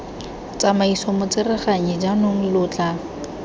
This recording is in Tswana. tsamaiso motsereganyi jaanong lo tla